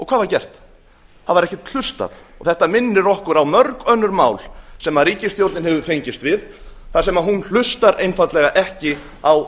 hvað var gert það var ekkert hlustað þetta minnir okkur á mörg önnur mál sem ríkisstjórnin hefur fengist við þar sem hún hlustar einfaldlega ekki á